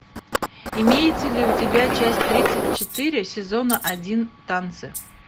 имеется ли у тебя часть тридцать четыре сезона один танцы